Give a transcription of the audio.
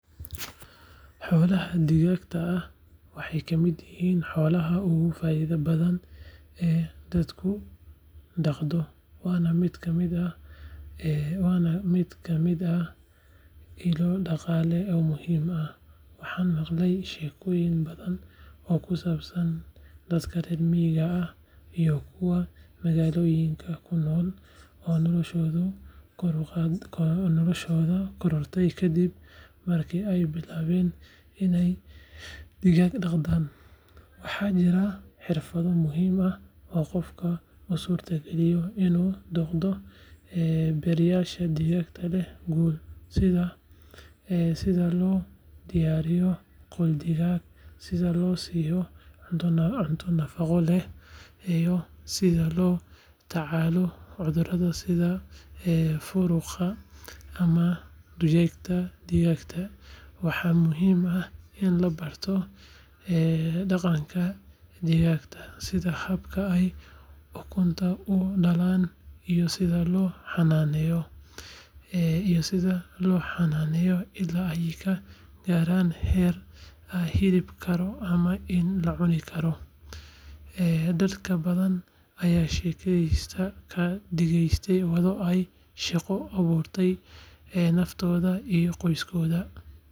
Xoolaha digaagga ah waxay ka mid yihiin xoolaha ugu faa’iidada badan ee dadku dhaqdo, waana mid ka mid ah ilo dhaqaale oo muhiim ah. Waxaan maqlay sheekooyin badan oo ku saabsan dadka reer miyiga ah iyo kuwa magaalooyinka ku noolba oo noloshoodu korodhay kadib markii ay bilaabeen inay digaag dhaqdaan. Waxaa jira xirfado muhiim ah oo qofka u suurtagelinaya inuu noqdo beeraley digaag leh guul, sida: sida loo diyaariyo qol digaag, sida loo siiyo cunto nafaqo leh, iyo sida loola tacaalo cudurrada sida furuqa ama durayga digaagga. Waxaa muhiim ah in la barto dhaqanka digaagga, sida habka ay ukunta u dhalaan iyo sida loo xannaneeyo illaa ay ka gaarayaan heer la iibin karo ama la cuni karo. Dad badan ayaa sheekooyinkaasi ka dhigeen waddo ay shaqo u abuuraan naftooda iyo qoysaskooda.